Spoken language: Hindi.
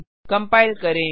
कंपाइल करें